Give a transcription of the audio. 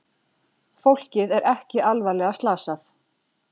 Fólkið er ekki alvarlega slasað